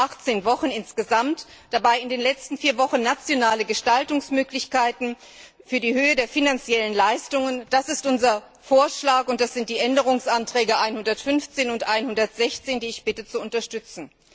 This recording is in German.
18 Wochen insgesamt, dabei in den letzten 4 Wochen nationale Gestaltungsmöglichkeiten für die Höhe der finanziellen Leistungen das ist unser Vorschlag, und das sind die Änderungsanträge 115 und 116, die ich bitte zu unterstützen.